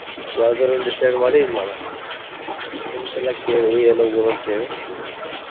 ಯಾವ್ದರಾ ಒಂದ್ decide ಮಾಡಿ ಇದ್ನ ಮಾಡೋದ. friends ಎಲ್ಲಾ ಕೇಳಿ ಎಲ್ಲಿ ಹೋಗುನು ಅಂತ ಹೇಳಿ.